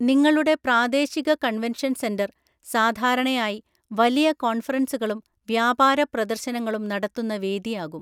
നിങ്ങളുടെ പ്രാദേശിക convention centre സാധാരണയായി വലിയ കോൺഫറൻസുകളും വ്യാപാര പ്രദർശനങ്ങളും നടത്തുന്ന വേദിയാകും.